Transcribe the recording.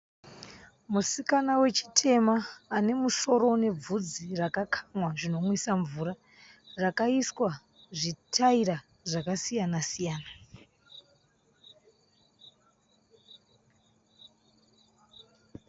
Musikana wechitema anemusoro unebvudzi rakakamwa zvinomwisa mvura rakaiswa zvitaira zvakasiyana siyana.